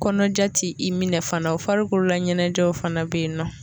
Kɔnɔja t'i i minɛ fana o farikolo la ɲɛnajɛw fana be yen nɔ